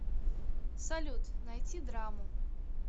салют найти драму